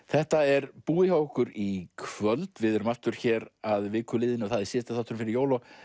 þetta er búið hjá okkur í kvöld við erum aftur hér að viku liðinni síðasti þáttur fyrir jól og